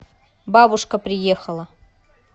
бабушка приехала